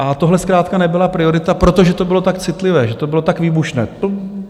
A tohle zkrátka nebyla priorita, protože to bylo tak citlivé, že to bylo tak výbušné.